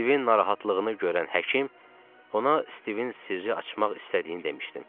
Stivin narahatlığını görən həkim ona Stivin sirri açmaq istədiyini demişdim.